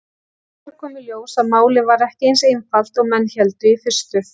Síðar kom í ljós að málið var ekki eins einfalt og menn héldu í fyrstu.